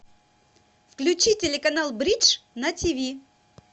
включи телеканал бридж на тиви